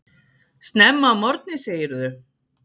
Snemma að morgni segirðu.